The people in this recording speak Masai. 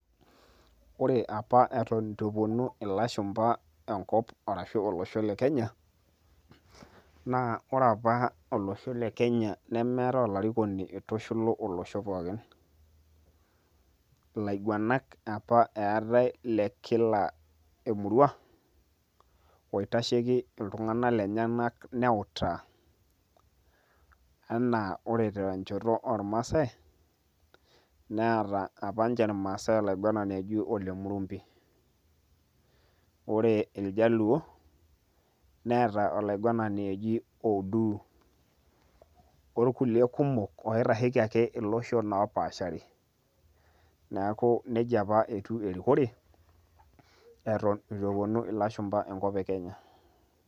Ore apa eton itu eponu ilashumpa enkop, arashu olosho le Kenya, naa ore apa olosho le Kenya nemeetae olarikoni oitushulu olosho pookin. Ilaiguanak apa eetae le kila emurua, oitasheki iltung'anak lenyanak neutaa. Enaa ore tenchoto ormaasai, neeta apa nche irmaasai olaiguanani oji Ole Murumbi. Ore iljaluo, neeta olaiguanani oji Oduu. Orkulie kumok oitasheki ake iloshon opaashari. Neeku nejia apa etiu erikore, eton itu eponu ilashumpa enkop e Kenya.